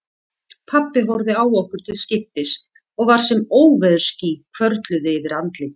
Pabbi horfði á okkur til skiptis og var sem óveðursský hvörfluðu yfir andlitið.